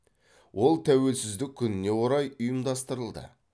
ол тәуелсіздік күніне орай ұйымдастырылды